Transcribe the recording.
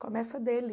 Começa dele.